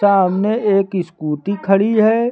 सामने एक स्कूटी खड़ी है।